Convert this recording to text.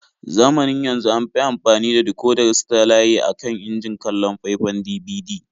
Zamanin yanzu an fi amfani da dikodar satalaye a kan injin kallon faifan DVD.